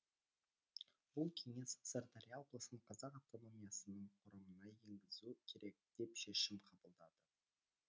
бұл кеңес сырдария облысын қазақ автономиясының құрамына енгізу керек деп шешім қабылдады